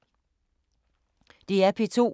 DR P2